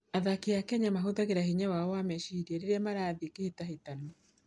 Athaki a Kenya mahũthagĩra hinya wao wa meciria rĩrĩa marathiĩ kĩhĩtahĩtano.